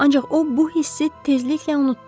Ancaq o bu hissi tezliklə unutdu.